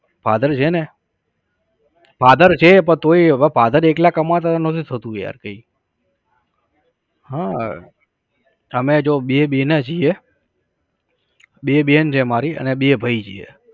father છે ને. father છે પણ તોઈ હવે father એકલા કમાતા હતા નહતું થાતું યાર કઈ. હા અમે તો બે બેનાં છે. બે બેન છે મારી અને બે ભઈ છીએ